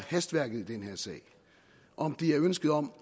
hastværket i den her sag om det er ønsket om